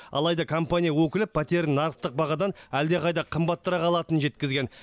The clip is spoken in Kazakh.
алайда компания өкілі пәтерін нарықтық бағадан әлдеқайда қымбаттырақ алатынын жеткізген